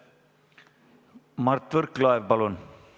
Mart Võrklaev, palun!